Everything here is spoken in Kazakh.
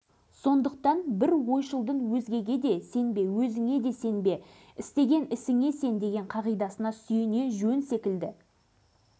экономика ғылымының кандидаты үш баланың әкесі ұлдары берік пен алмат әкесімен бірге кәсіпкерлікпен айналысуда зайыбы ләззат